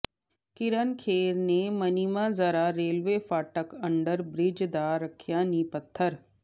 ਕਿਰਨ ਖੇਰ ਨੇ ਮਨੀਮਾਜਰਾ ਰੇਲਵੇ ਫਾਟਕ under bridge ਦਾ ਰੱਖਿਆ ਨੀਂਹ ਪੱਥਰ